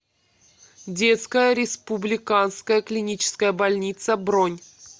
детская республиканская клиническая больница бронь